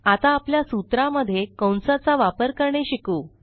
आता आपल्या सूत्रा मध्ये कंसा चा वापर करणे शिकू